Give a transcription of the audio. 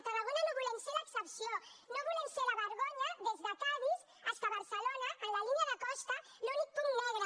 tarragona no volem ser l’excepció no volem ser la vergonya des de cadis fins a barcelona en la línia de costa l’únic punt negre